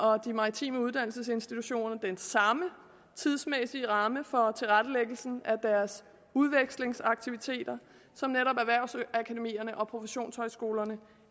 og de maritime uddannelsesinstitutioner den samme tidsmæssige ramme for tilrettelæggelsen af deres udvekslingsaktiviteter som netop erhvervsakademierne og professionshøjskolerne